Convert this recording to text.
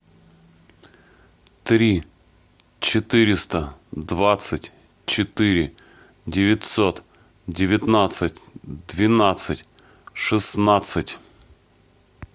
три четыреста двадцать четыре девятьсот девятнадцать двенадцать шестнадцать